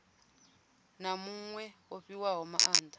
na muṅwe o fhiwaho maanda